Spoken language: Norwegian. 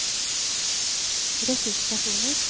ressurspersoner